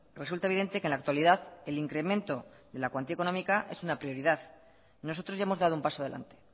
resulta evidente que en la actualidad el incremento de la cuantía económica es una prioridad nosotros ya hemos dado un paso adelante